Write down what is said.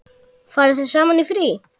Farið þið saman í frí?